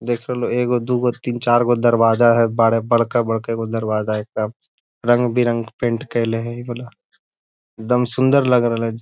देख रह लो एगो दूगो तीन-चार गो दरवाजा है बाड़ बड़का बड़का गो दरवाजा है रंग बिरंगा पेंट कइल है इ वाला एकदम सुन्दर लग रहल है।